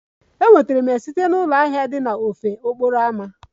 Enwetara m ya site na ụlọ ahịa dị n'ofe okporo ámá.